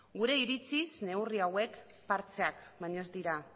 gure iritziz neurri hauek partxeak baino ez dira